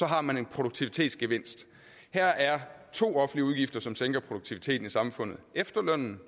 har man en produktivitetsgevinst her er to offentlige udgifter som sænker produktiviteten i samfundet efterlønnen